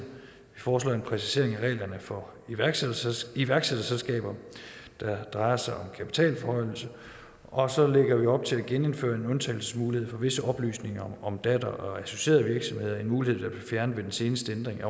foreslår en præcisering af reglerne for iværksætterselskaber iværksætterselskaber der drejer sig om kapitalforhøjelse og så lægger vi op til at genindføre en undtagelsesmulighed for visse oplysninger om datter og associerede virksomheder en mulighed der blev fjernet ved den seneste ændring